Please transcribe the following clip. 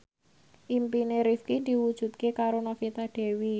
impine Rifqi diwujudke karo Novita Dewi